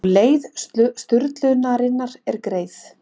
Og leið sturlunarinnar er greið.